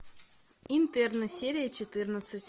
интерны серия четырнадцать